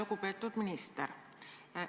Lugupeetud minister!